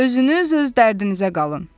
Özünüz öz dərdinizə qalın.